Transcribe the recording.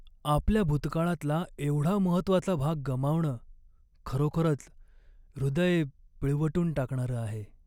आपल्या भूतकाळातला एवढा महत्त्वाचा भाग गमावणं खरोखरच हृदय पिळवटून टाकणारं आहे.